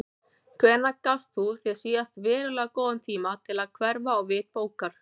Hvenær gafst þú þér síðast verulega góðan tíma til að hverfa á vit bókar?